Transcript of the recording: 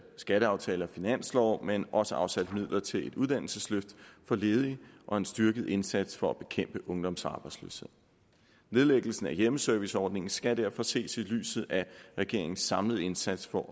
skatteaftale og finanslov men også afsat midler til et uddannelsesløft for ledige og en styrket indsats for at bekæmpe ungdomsarbejdsløshed nedlæggelsen af hjemmeserviceordningen skal derfor ses i lyset af regeringens samlede indsats for